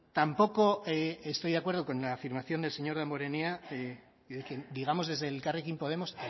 tampoco estoy de acuerdo con la afirmación del señor damborenea digamos desde elkarrekin podemos